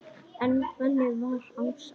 En þannig var Ása.